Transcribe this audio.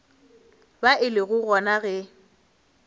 ba e le gona ge